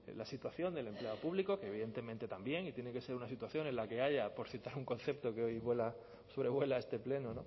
la situación del empleado público que evidentemente también y tiene que ser una situación en la que haya por citar un concepto que hoy vuela sobrevuela este pleno